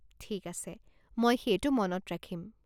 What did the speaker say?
ঠিক আছে, মই সেইটো মনত ৰাখিম।